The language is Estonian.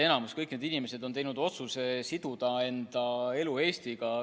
Kõik need inimesed on teinud otsuse siduda enda elu Eestiga.